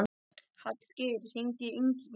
Hallgeir, hringdu í Ingigerði.